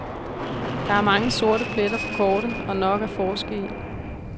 Der er mange sorte pletter på kortet, og nok at forske i.